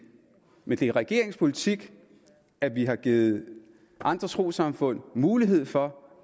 men det er regeringens politik at vi har givet andre trossamfund mulighed for